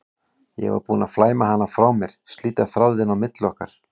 Ég var búin að flæma hana frá mér, slíta þráðinn á milli okkar.